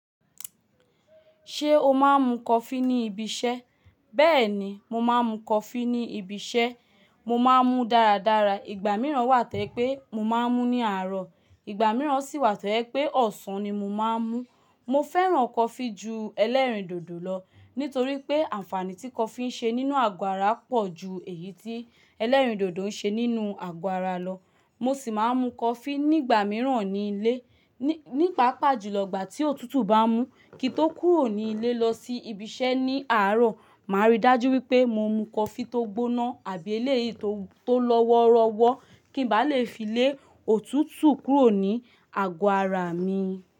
Ṣé o máa ń mu coffee ní ibi iṣẹ́? Bẹ́ẹ̀ni, mo máa ń mu coffee ní ibi iṣẹ́. Mo máa ń mu dáradára. Ìgbà mìíràn wà tojẹ́ pé mo máa ń mú ní àárọ̀, ìgbà mìíràn sì wà tojẹ́ pé ọ̀sán ni mo máa ń mú. Mo fẹ́ràn coffee ju ẹlẹ́rìndòdò lọ nítorí pé àǹfààní tí coffee ń ṣe nínú àgọ ara pọ̀ ju èyí tí ẹlẹ́rìndòdò ń ṣe nínú àgọ ara lọ. Mo sì máa ń mu coffee nígbà mìíràn ní ilé. Ní pàápàá jùlọ ìgbà tí òtútù bá mú kí n tó kúrò ní ilé lọ sí ibi iṣẹ́ ní àárọ̀, màá rí dájú wípé mo mu coffee tó gbóná àbí eléyìí to tó lọ́wọ́rọ́wọ́ kí ń bá lè fi lé òtútù kúrò ní àgọ́ ara mi.